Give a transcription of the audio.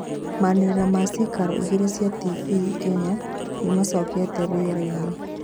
manĩrĩra ma ciikaro igĩrĩ cia tibii Kenya nimacokĩte rĩerainĩ